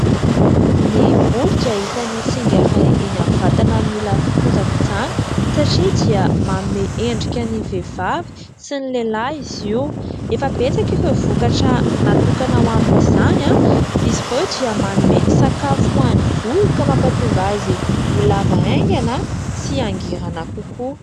Ny volo dia isany singa iray eny amin'ny vatana mila fikojakojana, satria dia manome endrika ny vehivavy sy ny lehilahy izy io. Efa betsaka ireo vokatra natokana ho amin'izany. Izy ireo dia manome sakafo hoan'ny volo, ka mapahatonga azy holava haingana sy mangirana kokoa.